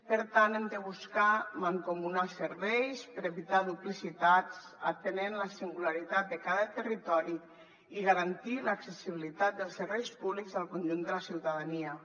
per tant hem de buscar mancomunar serveis per evitar duplicitats atenent la singularitat de cada territori i garantir l’accessibilitat dels serveis públics al conjunt de la ciutadania